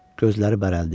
Gözləri bərəldi.